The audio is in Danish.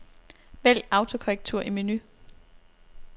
Vælg autokorrektur i menu.